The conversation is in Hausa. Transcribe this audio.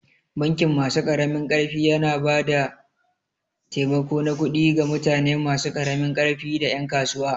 Bankin masu ƙaramin ƙarfi yana ba da taimako na kudi ga mutane masu karamin ƙarfi da ƴan kasuwa.